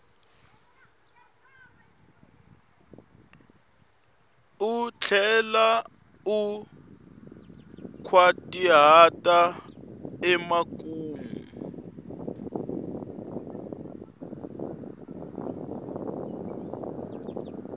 u tlhela u nkhwatihata emakumu